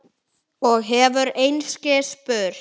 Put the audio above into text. Og hefur einskis spurt.